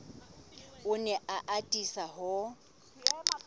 o ne a atisa ho